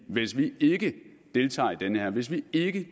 hvis vi ikke deltager i det her hvis vi ikke